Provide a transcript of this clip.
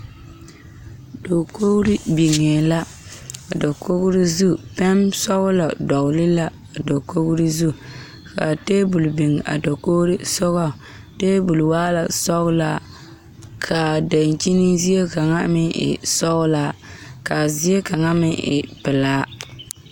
Dakogri biŋe la a dakogri zu pɛnsɔglɔ dɔgle la a dakogri zu ka tabol biŋ a dakogri sogɔŋ tabol waa la sɔglaa k,a dankyini zie kaŋa meŋ e sɔglaa k,a zie kaŋa meŋ e pelaa.